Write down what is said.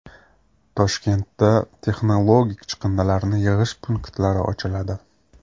Toshkentda texnologik chiqindilarni yig‘ish punktlari ochiladi.